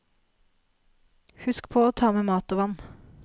Husk på å ta med mat og vann.